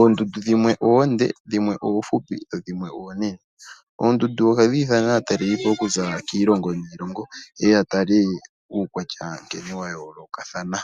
Ondundu dhimwe oonde dho dhimwe oonene. Ondundu ohadhi nana atalalelipo okuza kiilongo niilongo ye ya tale uukwatya nkene wa yoolokathana.